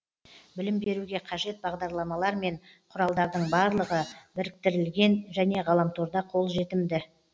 білім беруге қажет бағдарламалар мен құралдардың барлығы біріктірілген және ғаламторда қолжетімді